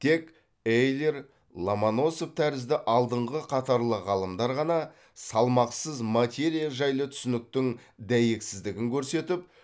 тек эйлер ломоносов тәрізді алдыңғы қатарлы ғалымдар ғана салмақсыз материя жайлы түсініктің дәйексіздігін көрсетіп